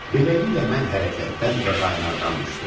Beləliklə, mən hərəkətdən və qaynardən düşdüm.